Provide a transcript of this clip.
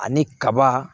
Ani kaba